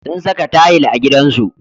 Sun saka tayil a gidansu.